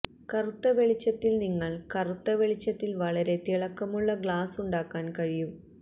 കറുത്ത വെളിച്ചത്തിൽ നിങ്ങൾ കറുത്ത വെളിച്ചത്തിൽ വളരെ തിളക്കമുള്ള ഗ്ലാസ്സ് ഉണ്ടാക്കാൻ കഴിയും